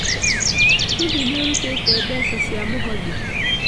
Hihi nĩ ũrutĩte mbeca cia mũhothi?